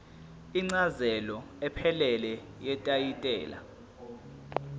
incazelo ephelele yetayitela